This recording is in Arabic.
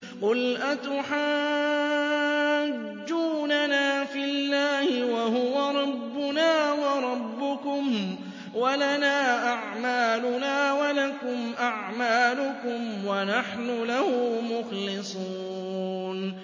قُلْ أَتُحَاجُّونَنَا فِي اللَّهِ وَهُوَ رَبُّنَا وَرَبُّكُمْ وَلَنَا أَعْمَالُنَا وَلَكُمْ أَعْمَالُكُمْ وَنَحْنُ لَهُ مُخْلِصُونَ